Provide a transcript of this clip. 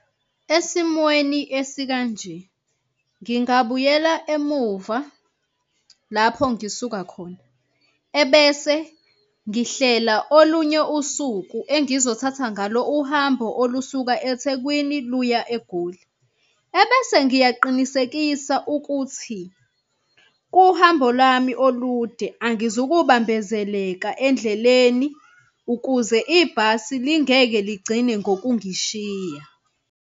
Esimweni esikanje ngingabuyela emuva lapho ngisuka khona, ebese ngihlela olunye usuku engizothatha ngalo uhambo olusuka eThekwini luya eGoli. Ebese ngiyaqinisekisa ukuthi kuhambo lwami olude angizukubambezeleka endleleni ukuze ibhasi lingeke ligcine ngokungishiya.